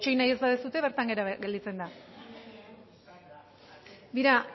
itxaron egin ez nahi baduzue bertan behera gelditzen da